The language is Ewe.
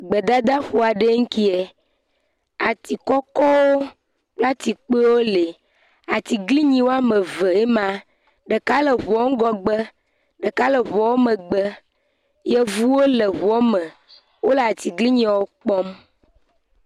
Gbedadaƒo aɖe ŋkie. Ati kɔkɔwo kple ati kpuiewo le, atiglinyi woame ve nyima, ɖeka le ŋuɔ ŋhɔgbe, ɖeka le ŋuɔ megbe. Yevuwo le ŋuɔ me. Wole atiglinyiewo kpɔm.